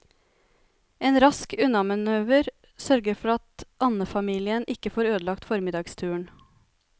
En rask unnamanøver sørger for at andefamilien ikke får ødelagt formiddagsturen.